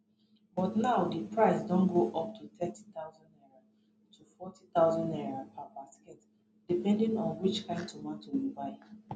but now di price don go up to 30000 naira to 40000 naira per basket depending on which kain tomato you buy